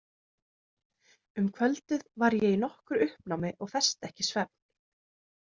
Um kvöldið var ég í nokkru uppnámi og festi ekki svefn.